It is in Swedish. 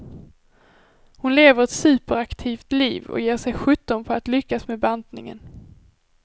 Hon lever ett superaktivt liv och ger sig sjutton på att lyckas med bantningen.